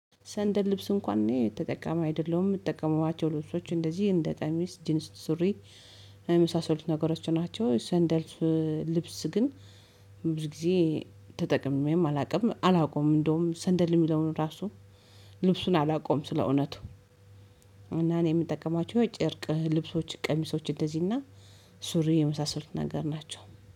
ሰንደል ልብስ እንኳን ነው የተጠቀመ አይደለም የምትጠቀሙባቸው ልብሶች እንደዚህ እንደ ጠሚስ ጂንስ ሱሪ የመሳሰሉት ነገሮች ናቸው። ሰንደልፍ ልብስ ግን ብዙ ጊዜ ተጠቅሜም አላውቅም አላውቀውም እንደውም ሰንደል የሚለውን ራሱ ልብሱን አላውቀውም ስለእውነቱ። እና እኔ የምጠቀማችሁ የጭርቅ ልብሶች ቀሚሶች እንደዚህና ሱሪ የመሳሰሉት ነገር ናቸው